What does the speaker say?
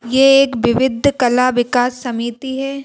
यह एक विविध कला विकास समिति है।